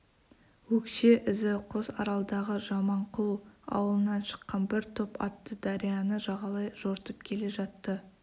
өкше ізі қосаралдағы жаманқұл ауылынан шыққан бір топ атты дарияны жағалай жортып келе жатты